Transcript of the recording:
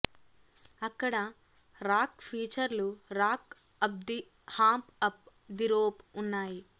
అక్కడ రాక్ ఫీచర్లు rock up the hump up the rope ఉన్నాయి